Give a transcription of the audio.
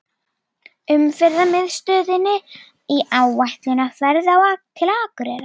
Umferðarmiðstöðinni í áætlunarferð til Akureyrar.